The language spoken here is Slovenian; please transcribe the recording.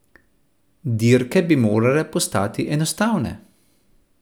Dirke bi morale postati enostavne.